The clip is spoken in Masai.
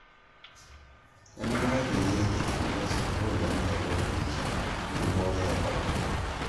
Nemenare peyie itumiai sukuul enaa ewueji onkiboorot e Corona